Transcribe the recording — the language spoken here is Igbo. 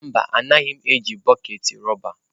Mba, anaghị m eji bọket rọba.